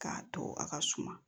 K'a to a ka suma